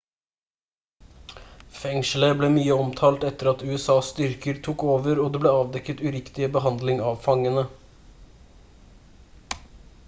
fengselet ble mye omtalt etter at usas styrker tok over og det ble avdekket uriktig behandling av fangene